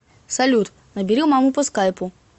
салют набери маму по скайпу